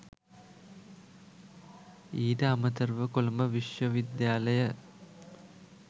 ඊට අමතරව කොළඹ විශ්වවිද්‍යාලය